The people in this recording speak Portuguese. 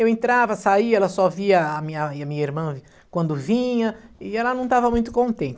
Eu entrava, saía, ela só via a minha e minha irmã quando vinha e ela não estava muito contente.